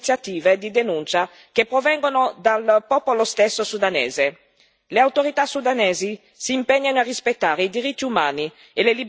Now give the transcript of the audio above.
Il Sudan ha la necessità di sentirci vicini nel sostenere le iniziative di denuncia che provengono dal popolo stesso sudanese.